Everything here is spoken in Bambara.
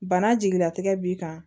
Bana jigilatigɛ b'i kan